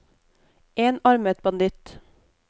enarmet banditt